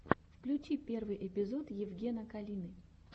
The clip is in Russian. включи первый эпизод евгена калины